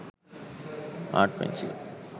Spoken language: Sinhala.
art pencil